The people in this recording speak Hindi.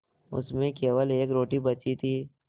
उसमें केवल एक रोटी बची थी